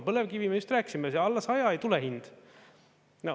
Põlevkivi, me just rääkisime, alla 100 ei tule hind.